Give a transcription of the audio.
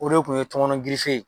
O de tun ye tɔmɔnɔ ye